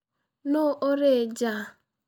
Nũ ũrĩ nja?